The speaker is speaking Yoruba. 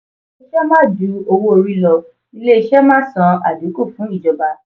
owó ìṣe má ju owó orí lọ ilé ìṣe má san adinku fún ìjọba.